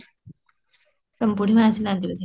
ତମ ବୁଢୀମା ଆସି ନାହାନ୍ତି ବୋଧେ